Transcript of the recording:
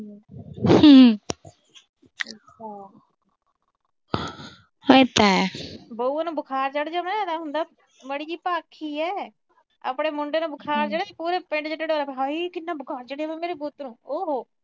ਬਹੂ ਨੂੰ ਬੁਖਾਰ ਚੜ ਜੇ, ਇਹ ਤਾਂ ਮਾੜੀ ਜੀ ਭੱਖ ਈ ਆ। ਆਪਣੇ ਮੁੰਡੇ ਨੂੰ ਬੁਖਾਰ ਚੜੇ, ਪੂਰੇ ਪਿੰਡ ਚ ਢਿੰਡੋਰਾ ਪਿੱਟ ਦੇ ਹਾਏ ਕਿੰਨਾ ਬੁਖਾਰ ਚੜਿਆ ਮੇਰੇ ਪੁੱਤ ਨੂੰ। ਹਾਏ, ਓ ਹੋ।